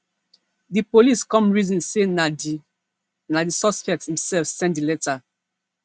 di police come reason say na di na di suspect imself send di letter